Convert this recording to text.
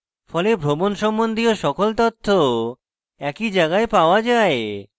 ফলে ভ্রমণ সম্বন্ধীয় সকল তথ্য একই জায়গায় পাওয়া যায়